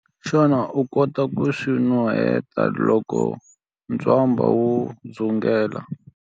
Xana u kota ku swi nuheta loko ntswamba wu dzungela?